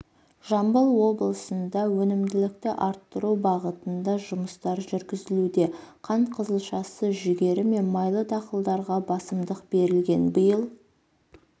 жамбыл облысында өнімділікті арттыру бағытында жұмыстар жүргізілуде қант қызылшасы жүгері мен майлы дақылдарға басымдық берілген биыл